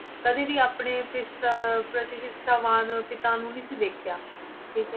ਕਦੇ ਵੀ ਆਪਣੇ ਪਿਤਾ ਪ੍ਰਤੀ ਨਿਸ਼ਠਾਵਾਨ ਪਿਤਾ ਨੂੰ ਨੀ ਸੀ ਦੇਖਿਆ, ਠੀਕ ਹੈ।